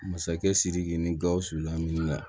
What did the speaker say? Masakɛ sidiki ni gausu laminifɛn